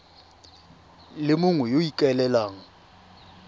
le mongwe yo o ikaelelang